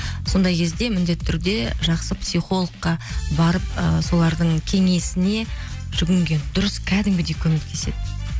сондай кезде міндетті түрде жақсы психологқа барып ы солардың кеңесіне жүгінген дұрыс кәдімгідей көмектеседі